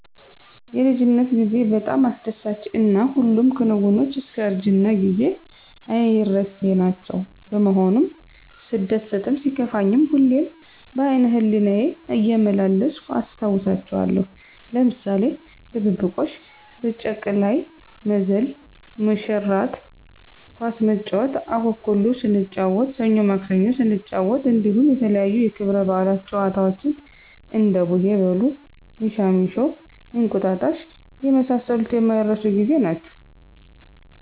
የልጅነት ጌዜ በጣም አስደሳች እና ሁሉም ክንወኖች እስከእርጅና ጊዜ አይረሴናቸዉ በመሆኑም ሰደሰትም ሲከፋኝም ሁሌም በአይነህሌናየ እየመላለስሁ አስታወሳቸዋለሁ ለምሳሌ ድብብቆሽ፣ በጭቀላይ መዝል፣ መሽራት፣ ኳስስንጫወት፣ አኩኩሉ ሰንጫወት፣ ሰኞማክሰኞ ሰንጫወት እንዲሁም የተለያዪ የክብረ በአለት ጨዋታወችን እንደቡሄበሉ፣ ሚሻሚሾ፣ አቁጣጣሽ የመሳሰሉት የማይረሱ ጌዜ ናቸዉ።